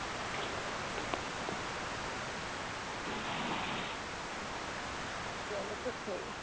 আমিও জল একটু খেয়ে নি।